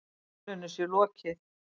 Málinu sé lokið.